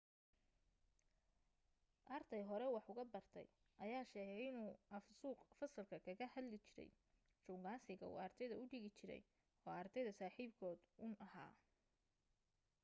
arday hore wax uga bartay ayaa sheegay inuu af suuq fasalka kaga hadli jiray shukaansiga uu ardayda u dhigi jiray oo ardayda saaxiibkood uun ahaa